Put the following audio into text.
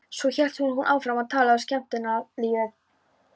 Svo hélt hún áfram að tala um skemmtanalífið.